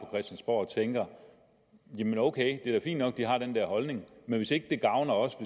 og tænker jamen ok det er fint nok de har den der holdning men hvis ikke det gavner os